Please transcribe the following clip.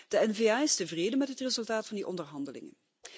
De N VA is tevreden met het resultaat van de onderhandelingen.